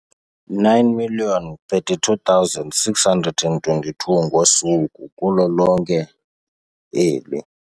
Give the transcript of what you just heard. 9 032 622 ngosuku kulo lonke eli.